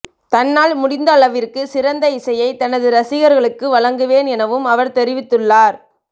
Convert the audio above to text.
தன்னால் முடிந்தளவிற்கு சிறந்த இசையை தனது ரசிகர்களுக்கு வழங்குவேன் எனவும் அவர் தெரிவித்துள்ளார்